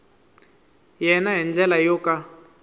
yena hi ndlela yo ka